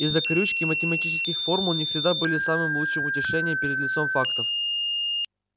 и закорючки математических формул не всегда были самым лучшим утешением перед лицом фактов